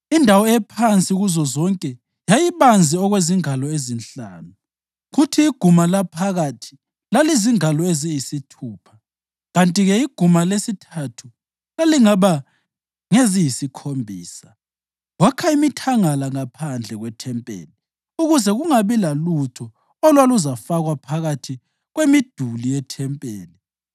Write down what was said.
Indawo ephansi kuzozonke yayibanzi okwezingalo ezinhlanu, kuthi iguma laphakathi lalizingalo eziyisithupha kanti-ke iguma lesithathu lalingaba ngeziyisikhombisa. Wakha imithangala ngaphandle kwethempeli ukuze kungabi lalutho olwaluzafakwa phakathi kwemiduli yethempeli.